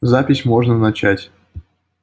запись можно начать